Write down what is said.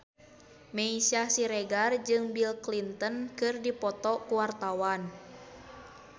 Meisya Siregar jeung Bill Clinton keur dipoto ku wartawan